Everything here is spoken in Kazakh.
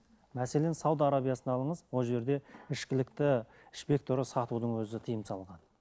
мәселен сауд арабиясын алыңыз ол жерде ішкілікті ішпек сатудың өзі тиым салынған